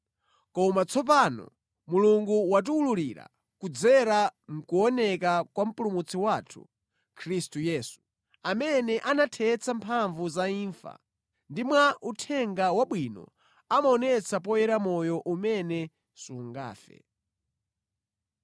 Koma tsopano Mulungu watiwululira kudzera mʼkuoneka kwa Mpulumutsi wathu, Khristu Yesu, amene anathetsa mphamvu za imfa ndipo mwa Uthenga Wabwino anaonetsa poyera moyo umene sungafe.